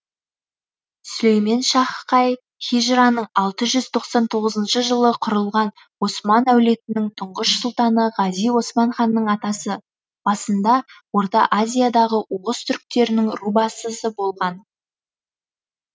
сүлейменшах қай хижраның алты жүз тоқсан тоғызыншы жылы құрылған осман әулетінің тұңғыш сұлтаны ғази осман ханның атасы басында орта азиядағы оғыз түрктерінің рубасысы болған